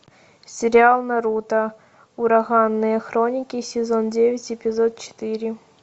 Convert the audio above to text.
сериал наруто ураганные хроники сезон девять эпизод четыре